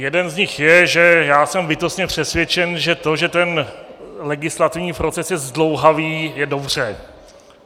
Jeden z nich je, že já jsem bytostně přesvědčen, že to, že ten legislativní proces je zdlouhavý, je dobře.